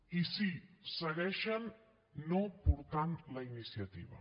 i sí segueixen no portant la iniciativa